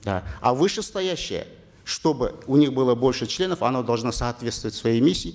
да а вышестоящая чтобы у них было больше членов она должна соответствовать своей миссии